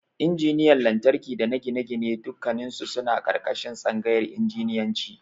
Injiniyan Lantarki dana Gine-gine dukkannisu suna ƙarƙashin Tsangayar Injiniyanci.